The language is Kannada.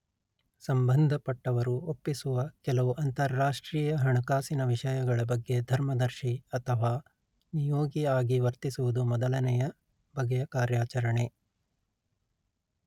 ಸಂಬಂಧಪಟ್ಟವರು ಒಪ್ಪಿಸುವ ಕೆಲವು ಅಂತರಾಷ್ಟ್ರೀಯ ಹಣಕಾಸಿನ ವಿಷಯಗಳ ಬಗ್ಗೆ ಧರ್ಮದರ್ಶಿ ಅಥವಾ ನಿಯೋಗಿ ಆಗಿ ವರ್ತಿಸುವುದು ಮೊದಲನೆಯ ಬಗೆಯ ಕಾರ್ಯಾಚರಣೆ